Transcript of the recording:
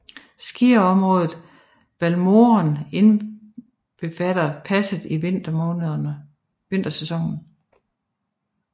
Skiområdet Valmorel indbefatter passet i vintersæsonen